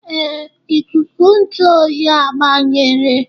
Ee, ikuku ntụ oyi agbanyere.